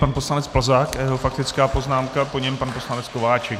Pan poslanec Plzák a jeho faktická poznámka, po něm pan poslanec Kováčik.